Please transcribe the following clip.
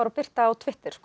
og birta á Twitter